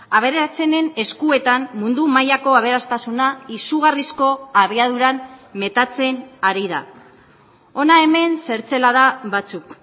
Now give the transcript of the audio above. aberatsenen eskuetan mundu mailako aberastasuna izugarrizko abiaduran metatzen ari da hona hemen zertzelada batzuk